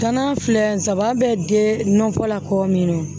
Gana filɛ saba bɛ den nɔnɔ kɔ min na wo